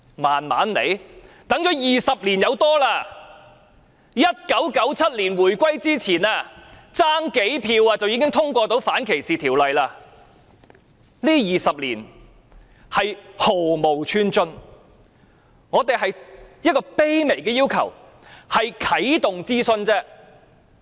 我們已等了20多年 ，1997 年回歸前，只差數票便可以通過反歧視條例，這20年是毫無寸進，我們只有一個卑微的要求，啟動諮詢。